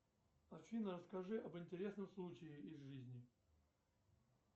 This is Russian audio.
афина расскажи об интересном случае из жизни